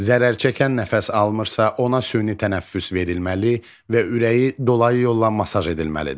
Zərərçəkən nəfəs almırsa, ona süni tənəffüs verilməli və ürəyi dolayı yolla masaj edilməlidir.